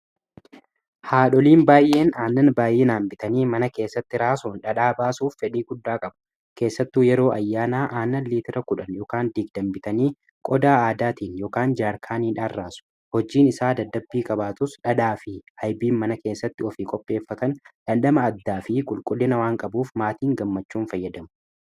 haadholiin baay'een aannan baayyinaan bitaanii mana keessatti raasuun dhadhaa baasuuf fedhii guddaa qabu keessattuu yeroo ayyaanaa aanan liitira kudhan yokaan diigdamaa bitaanii qodaa aadaatiin yokaan jaarkaaniidhaan raasu hojiin isaa daddabbii qaabaatus dhadhaa fi hayiibiin mana keessatti ofii qopheeffataan dhandhama addaa fi qulqullina waan qabuuf maatiin gammachuun fayyadamuu